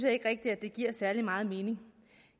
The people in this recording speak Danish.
ikke rigtig giver særlig meget mening